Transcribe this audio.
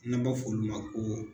N'an b'a fɔ olu ma ko